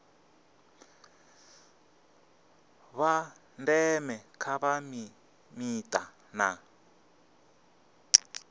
vha ndeme kha mita na